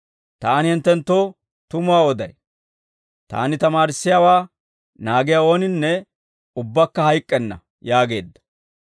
Taani hinttenttoo tumuwaa oday; Taani tamaarissiyaawaa naagiyaa ooninne ubbakka hayk'k'enna» yaageedda.